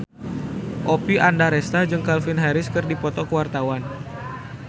Oppie Andaresta jeung Calvin Harris keur dipoto ku wartawan